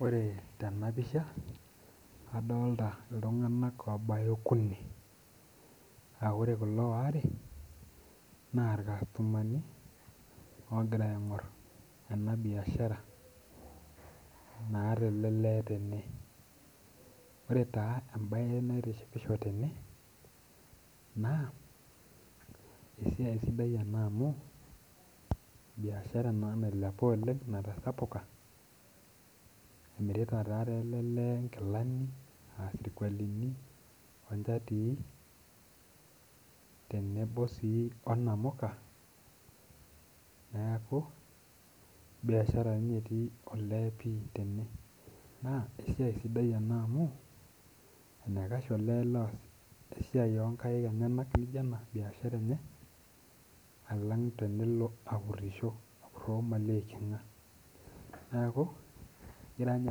Ore tenapisha adolta ltunganak obaya okuni aa ore kulo waare na irkastomani ogira aingur enabiashara naata elelee tene ore taa embae naitishipisho tene na esiaia sidai ena amu biashara ena nailepa oleng esiia natasapuka emirita ta elele nkilani aa sirkualini onchatii tenebo onamuka neaku biashara ninye etii olee tene na esiaia sapuk amu enikash olee oas esiai onkaik nijo ena biashara enye alang tenilo apurisho neaku egira nye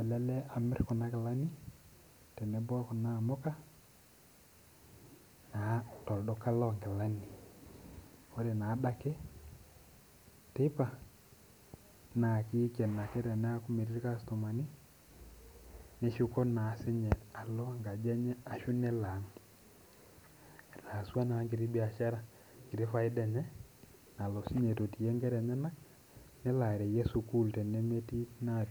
elelee amir kuna kilani tenebo okuna aamuka tolduka lonkilani neaku ore adake teipa na kiken ake teneaku metii irkastomani neshuko alo enkaji enye ashu elo aang etaasua na enkiti faida enye nalo sinye aitotie nkera enyenak nelo arewie sukul tenemetii na.